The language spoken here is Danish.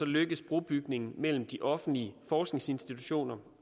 lykkes brobygningen mellem de offentlige forskningsinstitutioner